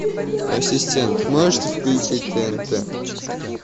ассистент можете включить тнт